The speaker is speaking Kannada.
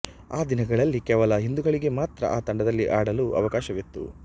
ಆ ದಿನಗಳಲ್ಲಿ ಕೇವಲ ಹಿಂದೂಗಳಿಗೆ ಮಾತ್ರ ಆ ತಂಡದಲ್ಲಿ ಆಡಲು ಅವಕಾಶವಿತ್ತು